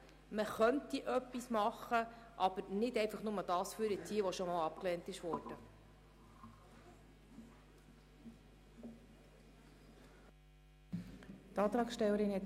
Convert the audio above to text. Man könnte etwas tun, aber nicht einfach nur, indem man das hervorzieht, was bereits einmal abgelehnt worden ist.